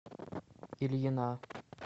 ильина